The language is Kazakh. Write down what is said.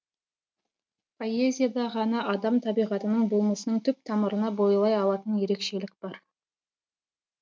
поэзияда ғана адам табиғатының болмысының түп тамырына бойлай алатын ерекшелік бар